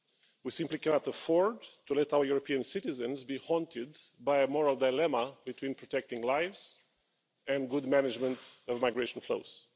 We simply cannot afford to let our European citizens be haunted by a moral dilemma between protecting lives and good management of migration flows.